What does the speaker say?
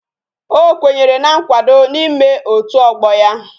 O kwenyere na nkwado na ime otu ogbo ya.